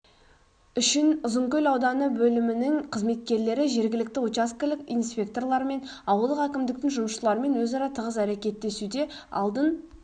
үшін ұзынкөл ауданы бөлімінің қызметкерлері жергілікті учаскілік инспекторларымен ауылдық әкімдіктің жұмысшылармен өзара тығыз әрекеттесуде алдын